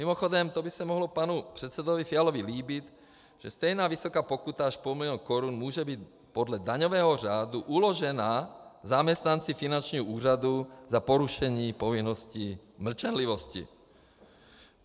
Mimochodem, to by se mohlo panu předsedovi Fialovi líbit, že stejně vysoká pokuta až půl milionu korun může být podle daňového řádu uložena zaměstnanci Finančního úřadu za porušení povinnosti mlčenlivosti.